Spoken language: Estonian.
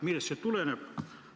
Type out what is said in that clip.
Millest see tuleneb?